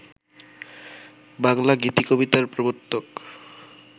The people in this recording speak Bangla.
বাংলা গীতিকবিতার প্রবর্তক